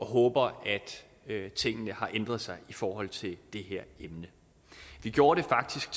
håber at tingene har ændret sig i forhold til det her emne vi gjorde det faktisk